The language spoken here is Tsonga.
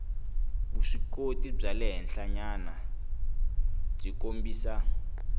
vuswikoti bya le henhlanyanabyi kombisa